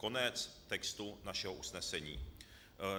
Konec textu našeho usnesení.